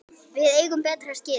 Við eigum betra skilið.